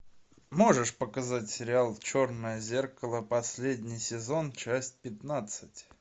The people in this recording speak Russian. можешь показать сериал черное зеркало последний сезон часть пятнадцать